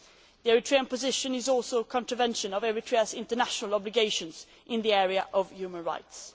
The Eritrean position is also in contravention of Eritrea's international obligations in the area of human rights.